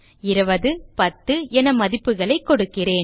20 மற்றும் 10 என மதிப்புகள் கொடுக்கிறேன்